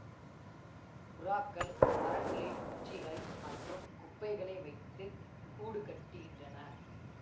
புறாக்கள் மரங்களில் குச்சிகள் மற்றும் குப்பைகளை வைத்து கூடு கட்டுகின்றன